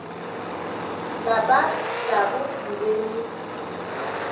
lapa labo le be le